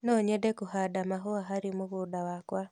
No nyende kũhanda mahũa harĩ mũgũnda wakwa.